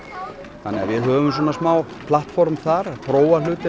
þannig við höfum smá platform þar að prófa hlutina